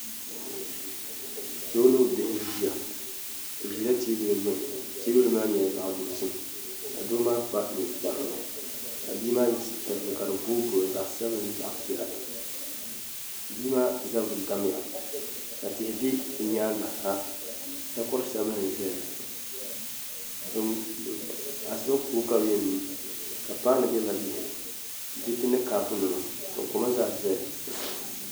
Doo ni o bihi n ʒiya bi ʒila teebuli gbuni teebuli maa nyɛla zaɣ dozim ka doo maa kpa ninkpara ka bia maa yɛ sitira zaɣ piɛla bia maa zabiri gamya ka tihi bɛ bi nyaangi ha takori sabinli biɛni asiba koko ka bi yɛn nyu ka paanu biɛ dinni diriti ni kaapu nima ka koma zaa ʒɛya